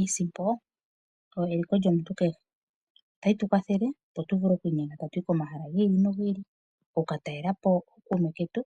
Iisimpo oyo eliko lyomuntu kehe. Otayi tu kwatheke opo tu vule oku inyenga ta tu yi komahala gi ili nogi ili, oku ka talela po ookuume ketu